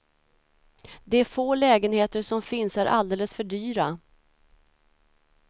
De få lägenheter som finns är alldeles för dyra.